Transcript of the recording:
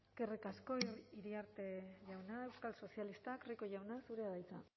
eskerrik asko iriarte jauna euskal sozialistak rico jauna zurea da hitza